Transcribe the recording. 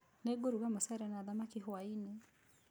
Nĩngũruga mũcere na thamaki hwaĩ-inĩ